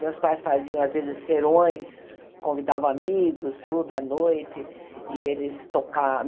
Meus pais faziam, às vezes, serões, convidavam amigos, tudo à noite. e eles